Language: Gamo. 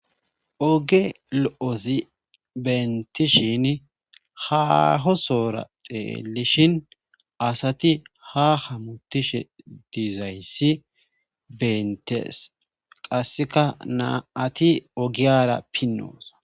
Oge lo'ozi bentishin hahosora xeelishin asati ha hamutishe diizayssi bentees qasseka naa ati ogiyara pinnoosa.